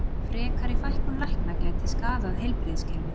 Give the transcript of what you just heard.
Frekari fækkun lækna gæti skaðað heilbrigðiskerfið